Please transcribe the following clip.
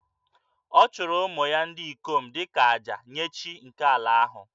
Ọ chụrụ ụmụ ya ndị ikom dị ka àjà nye chi nke ala ahụ